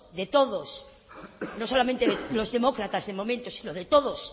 de todos no solamente de los demócratas de momento sino de todos